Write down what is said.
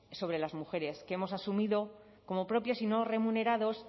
sobre las mujeres que hemos asumido como propios y no remunerados